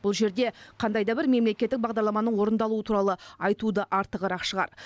бұл жерде қандай да бір мемлекеттік бағдарламаның орындалуы туралы айту да артығырақ шығар